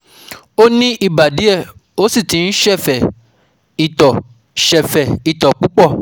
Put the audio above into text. Ó ní ibà díẹ̀ ó sì ti ń sẹ́fẹ́ itọ́ sẹ́fẹ́ itọ́ púpọ̀